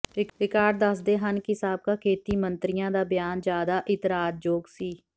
record ਦੱਸਦੇ ਹਨ ਕਿ ਸਾਬਕਾ ਖੇਤੀ ਮੰਤਰੀਆਂ ਦਾ ਬਿਆਨ ਜ਼ਿਆਦਾ ਇਤਰਾਜ਼ਯੋਗ ਸੀ